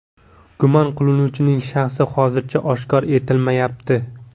Gumon qilinuvchining shaxsi hozircha oshkor etilmayapti.